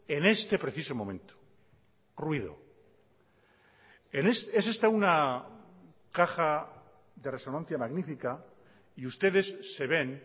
en este preciso momento ruido es esta una caja de resonancia magnífica y ustedes se ven